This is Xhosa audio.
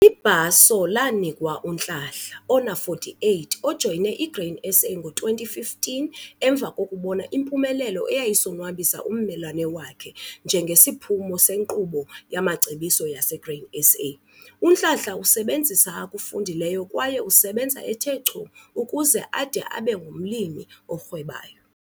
Ibhaso lanikwa uNhlanhla 48 ojoyine iGrain SA ngo-2015 emva kokubona impumelelo eyayisonwabisa ummelwane wakhe njengesiphumo senkqubo yamacebiso yaseGrain SA. UNhlanhla usebenzisa akufundileyo kwaye usebenza ethe chu ukuze ade abe ngumlimi orhwebayo.